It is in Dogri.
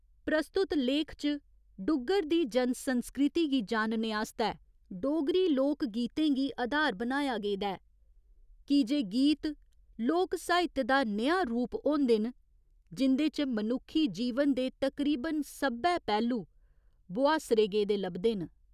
प्रस्तुत लेख च डुग्गर दी जन संस्कृति गी जानने आस्तै डोगरी लोक गीतें गी अधार बनाया गेदा ऐ की जे गीत लोक साहित्य दा नेहा रूप होंदे न जिं'दे च मनुक्खी जीवन दे तकरीबन सब्भै पैह्‌लु बोहास्सरे गेदे लभदे न।